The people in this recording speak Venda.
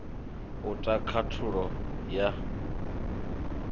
u ta khathulo ya ndatiso